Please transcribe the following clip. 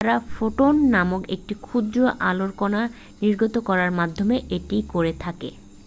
"তারা "ফোটন" নামক একটি ক্ষুদ্র আলোর কণা নির্গত করার মাধ্যমে এটি করে থাকে।